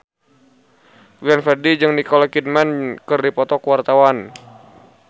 Glenn Fredly jeung Nicole Kidman keur dipoto ku wartawan